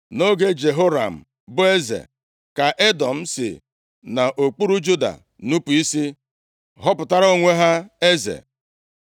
Nʼoge Jehoram bụ eze, ka Edọm si nʼokpuru Juda nupu isi, họpụtara onwe ha eze.